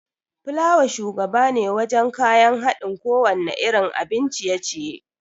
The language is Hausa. Fulawa shugabane wajan kayan haɗin kowanne irin abin ciye-ciye